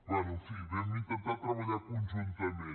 bé en fi vam intentar treballar conjuntament